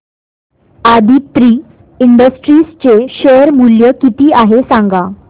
Aditri industries चे share मूल्य किती आहे सांगा